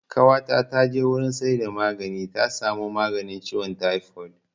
Ƙawata ta je wurin saida magani ta samo maganin ciwon taifod